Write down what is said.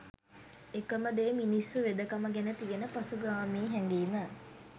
එකම දේ මිනිස්සු වෙදකම ගැන තියන පසුගාමී හැඟීම